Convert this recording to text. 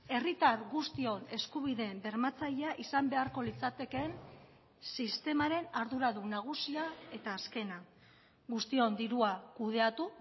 herritar guztion eskubideen bermatzailea izan beharko litzatekeen sistemaren arduradun nagusia eta azkena guztion dirua kudeatu